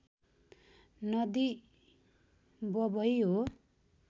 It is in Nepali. नदी बबइ हो